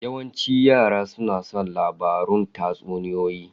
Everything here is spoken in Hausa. Yawancin yara suna son labarun tatsuniyoyi.